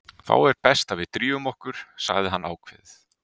Þá er best að við drífum okkur, sagði hann ákveðið.